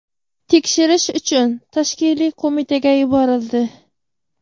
tekshirish uchun tashkiliy qo‘mitaga yuborildi.